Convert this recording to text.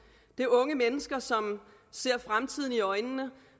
det er unge mennesker som ser fremtiden i øjnene og